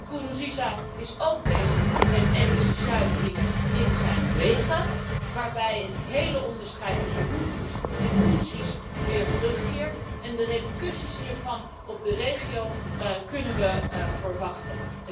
Nkurunziza is ook bezig met etnische zuiveringen in zijn leger, waarbij het hele onderscheid tussen Hutu's en Tutsi's weer terugkeert en de repercussies hiervan op de regio kunnen we verwachten.